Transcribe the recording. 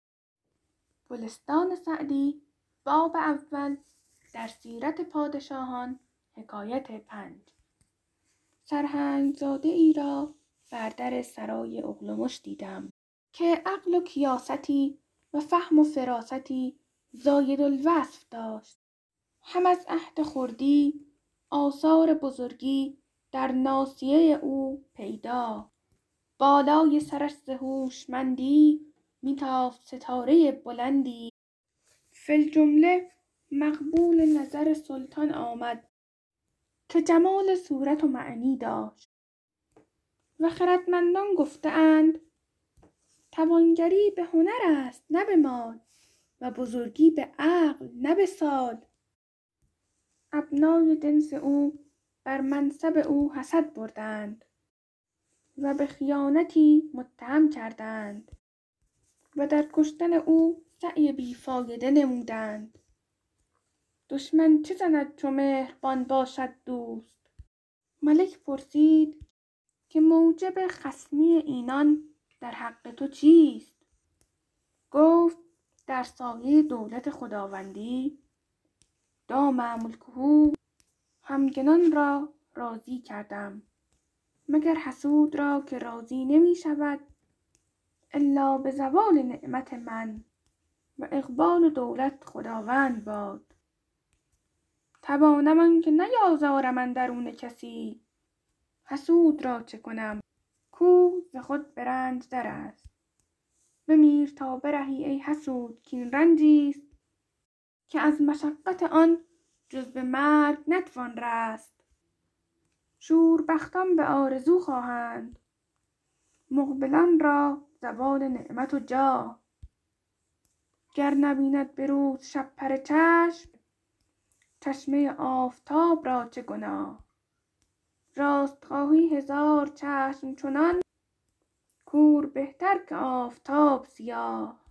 سرهنگ زاده ای را بر در سرای اغلمش دیدم که عقل و کیاستی و فهم و فراستی زاید الوصف داشت هم از عهد خردی آثار بزرگی در ناصیه او پیدا بالای سرش ز هوشمندی می تافت ستاره بلندی فی الجمله مقبول نظر سلطان آمد که جمال صورت و معنی داشت و خردمندان گفته اند توانگری به هنر است نه به مال و بزرگی به عقل نه به سال ابنای جنس او بر منصب او حسد بردند و به خیانتی متهم کردند و در کشتن او سعی بی فایده نمودند دشمن چه زند چو مهربان باشد دوست ملک پرسید که موجب خصمی اینان در حق تو چیست گفت در سایه دولت خداوندی دام ملکه همگنان را راضی کردم مگر حسود را که راضی نمی شود الا به زوال نعمت من و اقبال و دولت خداوند باد توانم آنکه نیازارم اندرون کسی حسود را چه کنم کو ز خود به رنج در است بمیر تا برهی ای حسود کاین رنجی ست که از مشقت آن جز به مرگ نتوان رست شوربختان به آرزو خواهند مقبلان را زوال نعمت و جاه گر نبیند به روز شپره چشم چشمه آفتاب را چه گناه راست خواهی هزار چشم چنان کور بهتر که آفتاب سیاه